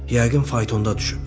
Yəqin faytonda düşüb.